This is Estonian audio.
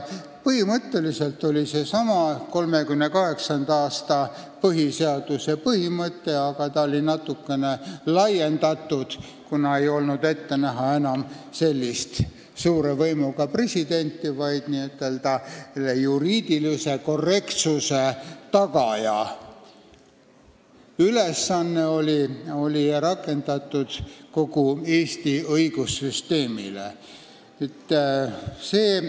Põhimõtteliselt oli see sellesama 1938. aasta põhiseaduse põhimõte, aga seda oli natukene laiendatud, kuna ei olnud enam ette näha sellist suure võimuga presidenti, tegemist oli juriidilise korrektsuse tagajaga ja see ülesanne oli rakendatud kogu Eesti õigussüsteemi suhtes.